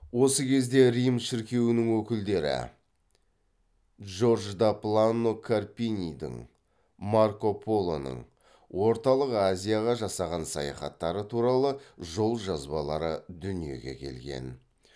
осы кезде рим шіркеуінің өкілдері джордж да плано карпинидің марко полоның орталық азияға жасаған саяхаттары туралы жол жазбалары дүниеге келген